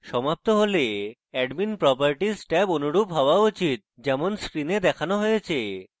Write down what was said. সমাপ্ত হলে admin properties tab অনুরূপ হওয়া উচিত যেমন screen দেখানো হয়েছে